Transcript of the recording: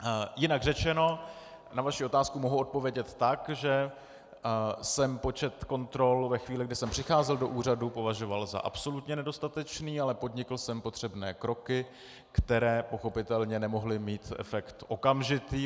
Jinak řečeno, na vaši otázku mohu odpovědět tak, že jsem počet kontrol ve chvíli, kdy jsem přicházel do úřadu, považoval za absolutně nedostatečný, ale podnikl jsem potřebné kroky, které pochopitelně nemohly mít efekt okamžitý.